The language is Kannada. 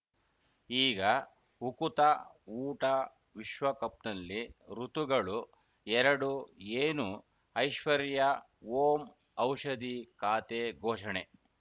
ಈಗ ಉಕುತ ಊಟ ವಿಶ್ವಕಪ್‌ನಲ್ಲಿ ಋತುಗಳು ಎರಡು ಏನು ಐಶ್ವರ್ಯಾ ಓಂ ಔಷದಿ ಖಾತೆ ಘೋಷಣೆ